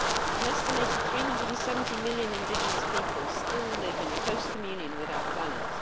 An estimated 370 million indigenous people still live in close communion with our planet.